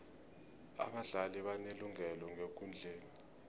abadlali banelungelo ngekundleni